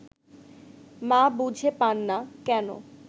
মা বুঝে পান না, কেন